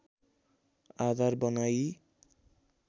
आधार बनाइ